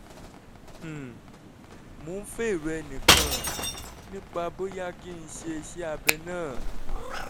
um mò ń fẹ́ èrò ẹnìkan nípa bóyá kí n ṣe iṣẹ́ abẹ náà